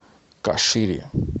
кашире